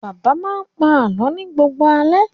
Bàbá máa ń pa àlọ́ ni gbogbo alẹ́.